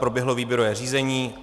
Proběhlo výběrové řízení.